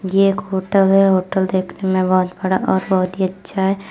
ये एक होटल है। होटल देखने में बहोत बड़ा और बोहोत ही अच्छा है।